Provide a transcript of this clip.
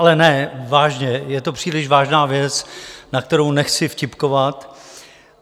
Ale ne, vážně, je to příliš vážná věc, na kterou nechci vtipkovat.